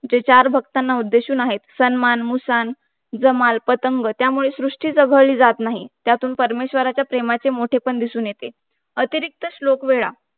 जे चार भक्तांना उद्देशून आहे सन्मान मुसाण जमाल पतंग त्यामुळे सृष्टी तेर घरी जात नाही त्यामुळे परमेश्वराच्या प्रेमाचे मोठेपण दिसून येते अतिरिक्त श्लोक वेळा